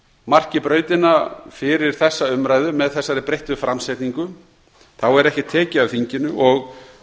marki brautina fyrir þessa umræðu með þessari breyttu framsetningu þá er ekkert tekið af þinginu og